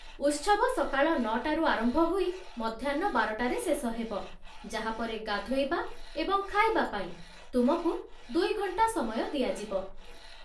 ଉତ୍ସବ ସକାଳ ନଅଟାରୁ ଆରମ୍ଭ ହୋଇ ମଧ୍ୟାହ୍ନ ବାରଟାରେ ଶେଷ ହେବ, ଯାହା ପରେ ଗାଧୋଇବା ଏବଂ ଖାଇବା ପାଇଁ ତୁମକୁ ଦୁଇ ଘଣ୍ଟା ସମୟ ଦିଆଯିବ।